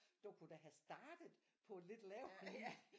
Du kunne da have startet på et lidt lavere